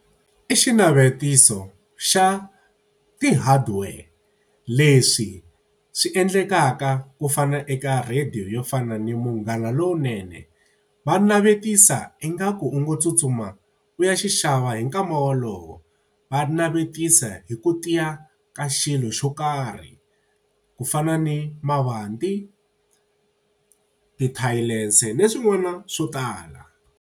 I xinavetiso xa ti-hardware leswi swi endlekaka ku fana eka radiyo yo fana ni Munghana Lowunene. Va navetisa ingaku u ngo tsutsuma u ya xava hi nkama wolowo. Va navetisa hi ku tiya ka xilo xo karhi, ku fana ni mavanti, tithayilese ni swin'wana swo tala.